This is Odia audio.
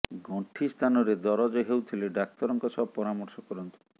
ଗଣ୍ଠି ସ୍ଥାନରେ ଦରଜ ହେଉଥିଲେ ଡାକ୍ତରଙ୍କ ସହ ପରାମର୍ଶ କରନ୍ତୁ